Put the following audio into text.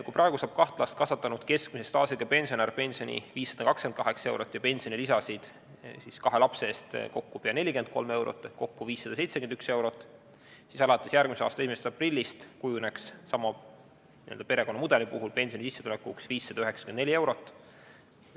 Kui praegu saab kaht last kasvatanud keskmise staažiga pensionär pensioni 528 eurot ja pensionilisasid kahe lapse eest kokku pea 43 eurot ehk kokku 571 eurot, siis alates järgmise aasta 1. aprillist kujuneks sama n-ö perekonnamudeli puhul pensionisissetulekuks 594 eurot.